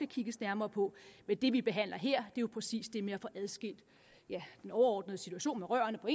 kigges nærmere på men det vi behandler her er præcis det med at få adskilt den overordnede situation med rørene på